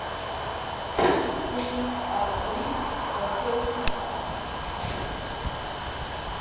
Eftir að inn var komið var allt með öðrum brag.